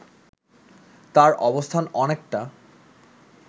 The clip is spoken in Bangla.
তার অবস্থান অনেকটা